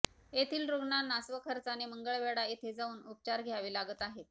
येथील रुग्णांना स्वखर्चाने मंगळवेढा येथे जाऊन उपचार घ्यावे लागत आहेत